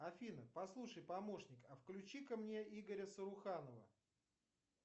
афина послушай помощник а включи ка мне игоря саруханова